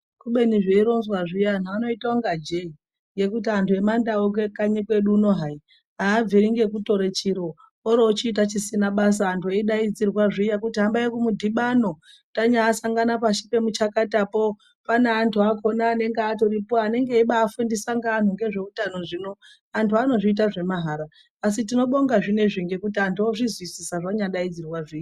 Kubeni zveironwa zviya anhu anoita kunga jee, ngekuti anhu emandau kanyi kuno kwedu hai abviri ngekutore chiro orochiita chisina basa antu eidaidzirwa zviya kuti hambai kumudhibano tanyaasangana pashi pemuchakatapo pane antu akona anenge atoripo anenge eibaafundisa ngaanhu ngezveutano zvino anhu anozviita zvemahara asi tinobonga zvinoizvizvi ngekuti anhu ozvizwisisa zvanyadaidzirwa zviya.